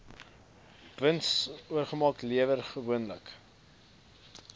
winsoogmerk lewer gewoonlik